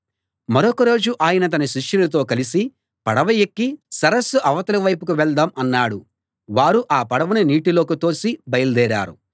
మరొక రోజు ఆయన తన శిష్యులతో కలిసి పడవ ఎక్కి సరస్సు అవతలి వైపుకు వెళ్దాం అన్నాడు వారు ఆ పడవను నీటిలోకి తోసి బయలుదేరారు